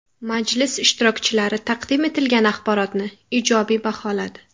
Majlis ishtirokchilari taqdim etilgan axborotni ijobiy baholadi.